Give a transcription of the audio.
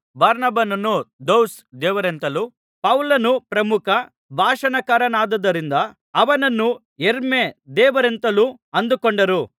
ಬಾರ್ನಬನನ್ನು ದ್ಯೌಸ್ ದೇವರೆಂತಲೂ ಪೌಲನು ಪ್ರಮುಖ ಭಾಷಣಕಾರನಾದ್ದರಿಂದ ಅವನನ್ನು ಹೆರ್ಮೆ ದೇವರೆಂತಲೂ ಅಂದುಕೊಂಡರು